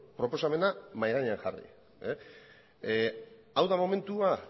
proposamena mahai gainean jarri hau da momentua